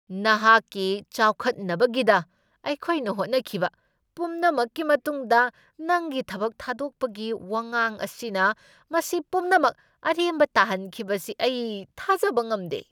ꯅꯍꯥꯛꯀꯤ ꯆꯥꯎꯈꯠꯅꯕꯒꯤꯗ ꯑꯩꯈꯣꯏꯅ ꯍꯣꯠꯅꯈꯤꯕ ꯄꯨꯝꯅꯃꯛꯀꯤ ꯃꯇꯨꯡꯗ, ꯅꯪꯒꯤ ꯊꯕꯛ ꯊꯥꯗꯣꯛꯄꯒꯤ ꯋꯥꯉꯥꯡ ꯑꯁꯤꯅ ꯃꯁꯤ ꯄꯨꯝꯅꯃꯛ ꯑꯔꯦꯝꯕ ꯇꯥꯍꯟꯈꯤꯕꯁꯤ ꯑꯩ ꯊꯥꯖꯕ ꯉꯝꯗꯦ ꯫